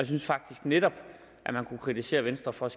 synes faktisk netop at man kunne kritisere venstre for at